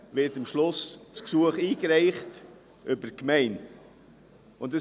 Am Schluss wird das Gesuch über die Gemeinde eingereicht.